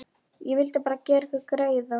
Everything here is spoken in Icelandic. Ég vildi bara gera ykkur greiða.